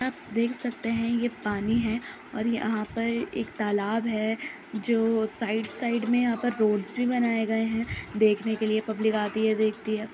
देख सकते हैं ये पानी है और यहाँ पर एक तालाब है जो साइड साइड में यहाँ पर रोड्स भी बनाए गए हैं देखने के लिए पब्लिक आती है देखती है।